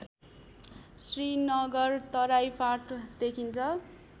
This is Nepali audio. श्रीनगर तराई फाँट देखिन्छ